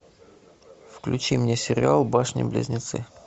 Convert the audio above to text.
включи мне сериал башни близнецы